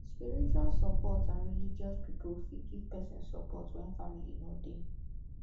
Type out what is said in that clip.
spiritual support and religious pipo fit give person support when family no dey